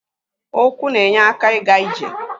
Ụkwụ na-enye aka ịga ije.